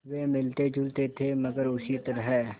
वे मिलतेजुलते थे मगर उसी तरह